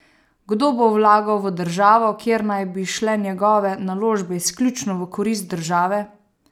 Kdo bo vlagal v državo, kjer naj bi šle njegove naložbe izključno v korist države?